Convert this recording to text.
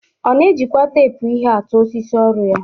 Ọ na-ejikwa teepu ihe atụ osisi ọrụ ya.